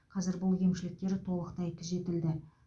қазір бұл кемшіліктер толықтай түзетілді